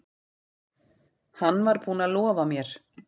Hann var búinn að lofa mér.